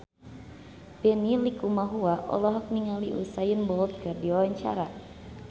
Benny Likumahua olohok ningali Usain Bolt keur diwawancara